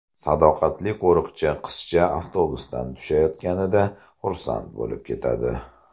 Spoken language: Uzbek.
Sadoqatli qo‘riqchi qizcha avtobusdan tushayotganida xursand bo‘lib ketadi.